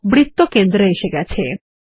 বৃত্তটি কেন্দ্র এ এসে গেছে